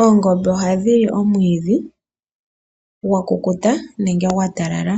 Oongombe ohadhi li omwiidhi gwakukuta nenge gwa talala.